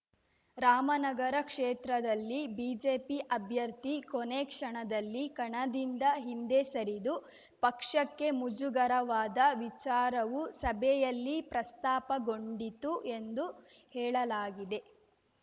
ರಾಮನಗರ ಕ್ಷೇತ್ರದಲ್ಲಿ ಬಿಜೆಪಿ ಅಭ್ಯರ್ಥಿ ಕೊನೇ ಕ್ಷಣದಲ್ಲಿ ಕಣದಿಂದ ಹಿಂದೆ ಸರಿದು ಪಕ್ಷಕ್ಕೆ ಮುಜುಗರವಾದ ವಿಚಾರವೂ ಸಭೆಯಲ್ಲಿ ಪ್ರಸ್ತಾಪಗೊಂಡಿತು ಎಂದು ಹೇಳಲಾಗಿದೆ